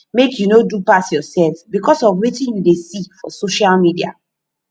make you no do pass yoursef because of wetin you dey see for social media